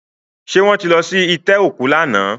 Ṣé wọ́n ti lọ sí itẹ́ òkú lánàá?